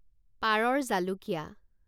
পাৰৰ জালুকীয়া